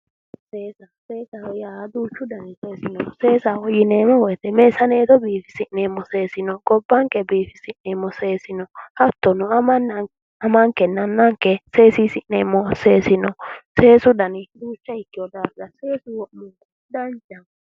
Seesa, seesaho yaa duuchu danni seesi no, seesaho yineemmo woyte meessanetto biifisi'neemmo seesi no, Gobbanke biifisi'neemmo seesi no, hattono amankenna annanke seesisi'neemmo seesi no, seesu danni duuchu noo daafira seeso wo'munku danchaho.